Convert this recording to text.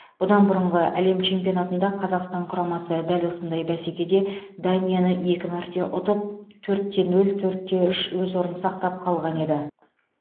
бұдан бұрынғы әлем чемпионатында қазақстан құрамасы дәл осындай бәсекеде данияны екі мәрте ұтып төрт те нөл төрт те үш өз орын сақтап қалған еді